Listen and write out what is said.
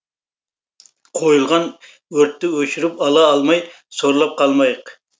қойылған өртті өшіріп ала алмай сорлап қалмайық